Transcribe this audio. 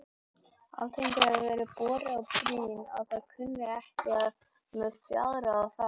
Alþingi hefir verið borið á brýn að það kunni ekki með fjárráð að fara.